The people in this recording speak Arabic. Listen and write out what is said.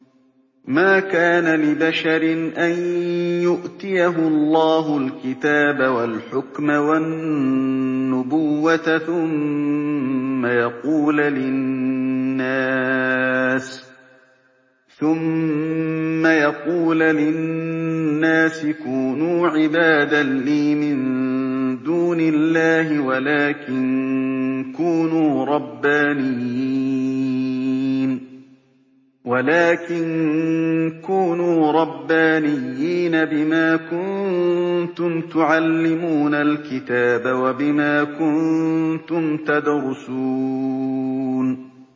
مَا كَانَ لِبَشَرٍ أَن يُؤْتِيَهُ اللَّهُ الْكِتَابَ وَالْحُكْمَ وَالنُّبُوَّةَ ثُمَّ يَقُولَ لِلنَّاسِ كُونُوا عِبَادًا لِّي مِن دُونِ اللَّهِ وَلَٰكِن كُونُوا رَبَّانِيِّينَ بِمَا كُنتُمْ تُعَلِّمُونَ الْكِتَابَ وَبِمَا كُنتُمْ تَدْرُسُونَ